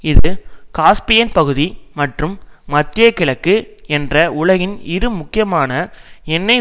இது காஸ்பியன் பகுதி மற்றும் மத்திய கிழக்கு என்ற உலகின் இரு முக்கியமான எண்ணெய்